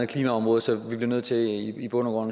klimaområdet så vi bliver nødt til i bund og